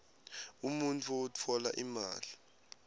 umuntfu utfola imali